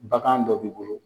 Bagan dɔ b'i bolo